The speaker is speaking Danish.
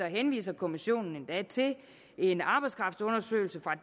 henviser kommissionen endda til en arbejdskraftundersøgelse fra